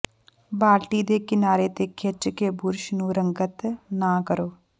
ਬਾਲਟੀ ਦੇ ਕਿਨਾਰੇ ਤੇ ਖਿੱਚ ਕੇ ਬੁਰਸ਼ ਨੂੰ ਰੰਗਤ ਨਾ ਕਰੋ